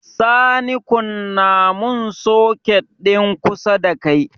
Sani kunna mun soket din kusa dakai